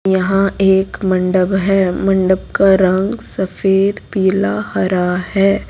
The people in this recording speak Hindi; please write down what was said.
यहां एक मंडप है मंडप का रंग सफेद पीला हरा है।